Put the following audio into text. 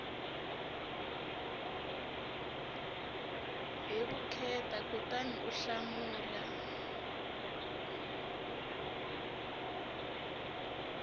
hi vukheta kutani u hlamula